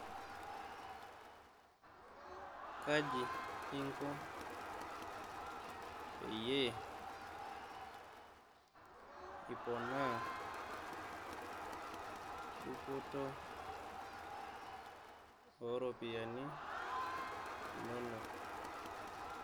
Kaji inko peyie iponaa dupoto ooropiyiani inonok?